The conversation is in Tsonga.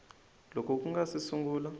loko ku nga si sungula